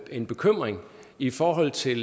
en bekymring i forhold til